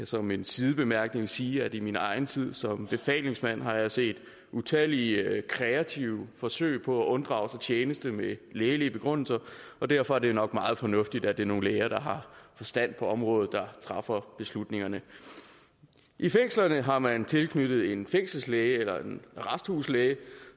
som en sidebemærkning sige at i min egen tid som befalingsmand har jeg set utallige kreative forsøg på at unddrage sig tjeneste med lægelige begrundelser og derfor er det jo nok meget fornuftigt at det er nogle læger der har forstand på området der træffer beslutningerne i fængslerne har man tilknyttet en fængselslæge eller en arresthuslæge